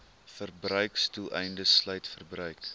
verbruiksdoeleindes sluit verbruik